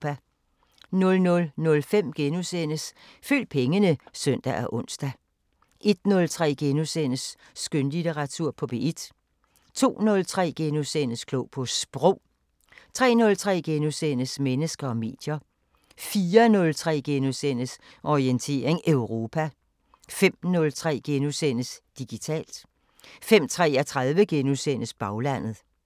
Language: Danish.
00:05: Følg pengene *(søn og ons) 01:03: Skønlitteratur på P1 * 02:03: Klog på Sprog * 03:03: Mennesker og medier * 04:03: Orientering Europa * 05:03: Digitalt * 05:33: Baglandet *